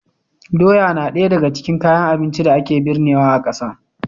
Doya na ɗaya daga cikin kayan abincin da ake birnewa a ƙasa.